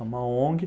É uma Ong.